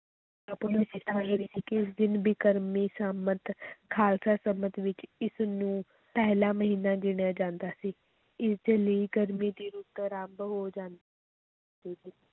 ਇਸ ਦਿਨ ਬਿਕਰਮੀ ਸੰਮਤ ਖ਼ਾਲਸਾ ਸੰਮਤ ਵਿੱਚ ਇਸ ਨੂੰ ਪਹਿਲਾ ਮਹੀਨਾ ਗਿਣਿਆ ਜਾਂਦਾ ਸੀ, ਇਸ ਦੇ ਲਈ ਗਰਮੀ ਦੀ ਰੁੱਤ ਅਰੰਭ ਹੋ ਜਾਂ~